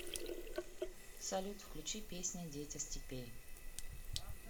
салют включи песня дети степей